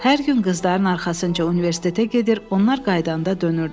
Hər gün qızların arxasınca universitetə gedir, onlar qayıdanda dönürdü.